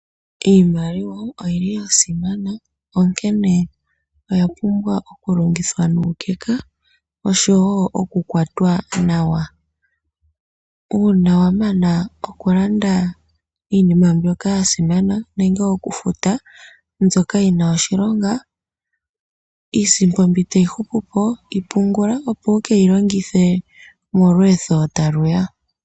Iimaliwa oyi li ya simana onkene oya pumbwa okulongithwa nuukeka nosho woo okukwatwa nawa. Uuna wa mana okulanda iinima mbyoka ya simana nenge okufuta iinima mbyoka yi na oshilonga, iisimpo mbyoka tayi hupupo yi pungula opo wu keyi longithe monakuyiwa.